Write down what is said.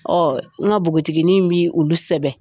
Ɔ n ka npoginin bi olu sɛbɛn